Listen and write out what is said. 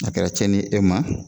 A kɛra tiɲɛni ye e ma